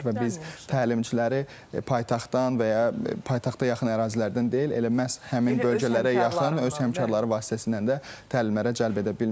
Və biz təlimçiləri paytaxtdan və ya paytaxta yaxın ərazilərdən deyil, elə məhz həmin bölgələrə yaxın öz həmkarları vasitəsindən də təlimlərə cəlb edə bilmişik.